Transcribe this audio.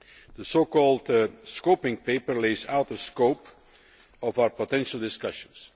The so called scoping paper' lays out the scope of our potential discussions.